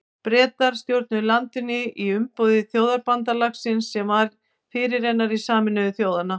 Bretar stjórnuðu landinu í umboði Þjóðabandalagsins sem var fyrirrennari Sameinuðu þjóðanna.